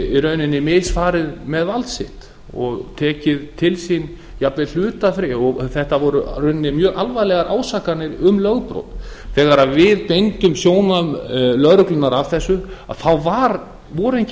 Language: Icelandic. í rauninni misfarið með vald sitt og tekið til sín jafnvel hlutafé þetta voru í rauninni mjög alvarlegar ásakanir um lögbrot þegar við beindum sjónum lögreglunnar að þessu þá voru engin svör